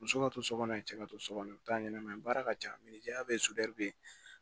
Muso ka to so kɔnɔ yen cɛ ka to so kɔnɔ u bɛ taa ɲɛnɛmaya ye baara ka ca ya bɛ yen sutura bɛ yen